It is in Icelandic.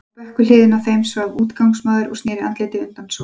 Á bekk við hliðina á þeim svaf útigangsmaður og sneri andliti undan sól.